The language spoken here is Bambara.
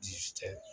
Ji